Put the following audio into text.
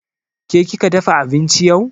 Ke kika dafa abinci yau?